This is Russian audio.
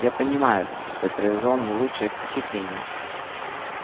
я понимаю что я произвёл не лучшее впечатление